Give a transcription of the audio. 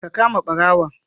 Ka kama barawon